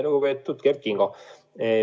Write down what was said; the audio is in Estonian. Lugupeetud Kert Kingo!